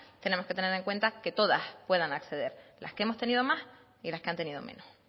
tenemos que tener en cuenta que todas puedan acceder las que hemos tenido más y las que han tenido menos